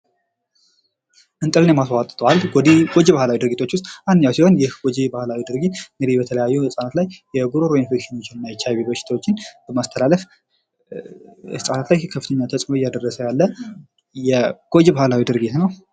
እንጥልን የማስቧጠጥ ባህል ጎጅ ባህላዊ ድርጊቶች ውስጥ አንዱ ሲሆን ይህ ጎጅ ባህላዊ ድርጊት እንግዲህ በተለያዩ ህጻናት ላይ የጉሮሮ ኢንፌክሽን እና ኤች አይ ቪ በሽታዎችን በማስተላለፍ ህጻናት ላይ ከፍተኛ ተጽዕኖ ያለው ጎጅ ባህላዊ ድርጊት ነው።